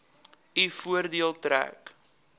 u voordeel trek